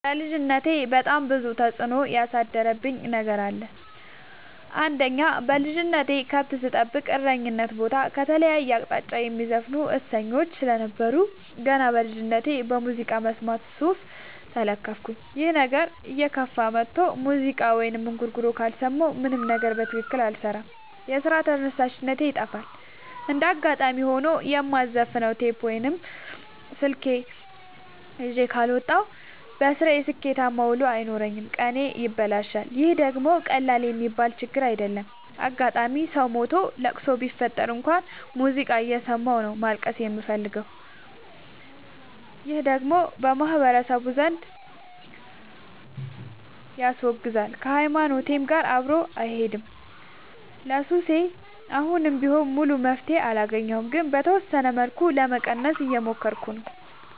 በልጅነቴ በጣም ብዙ ተጽዕኖ ያሳደረብኝ ነገር አለ። አንደኛ በልጅነቴ ከብት ስጠብቅ እረኝነት ቦታ ከተለያየ አቅጣጫ የሚዘፍኑ እሰኞች ስለነበሩ። ገና በልጅነቴ በሙዚቃ መስማት ሱስ ተለከፍኩኝ ይህ ነገርም እየከፋ መጥቶ ሙዚቃ ወይም እንጉርጉሮ ካልሰማሁ ምንም ነገር በትክክል አልሰራም የስራ ተነሳሽነቴ ይጠፋል። እንደጋጣሚ ሆኖ የማዘፍ ነው ቴፕ ወይም ስልክ ይዤ ካልወጣሁ። በስራዬ ስኬታማ ውሎ አይኖረኝም ቀኔ ይበላሻል ይህ ደግሞ ቀላል የሚባል ችግር አይደለም። አጋጣም ሰው ሞቶ ለቅሶ ቢፈጠር እንኳን ሙዚቃ እየሰማሁ ነው ማልቀስ የምፈልገው ይህ ደግሞ በማህበረሰቡ ዘንድ ያስወግዛል። ከሀይማኖቴም ጋር አብሮ አይሄድም። ለሱሴ አሁንም ቢሆን ሙሉ መፍትሔ አላገኘሁም ግን በተወሰነ መልኩ ለመቀነስ እየሞከርኩ ነው።